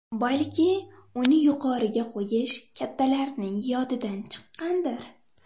Balki uni yuqoriga qo‘yish kattalarning yodidan chiqqandir.